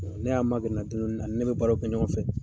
Ne y'a magɛrɛ n na dɔɔnin dɔɔnin ani ne bɛ baaraw kɛ ɲɔgɔn fɛ.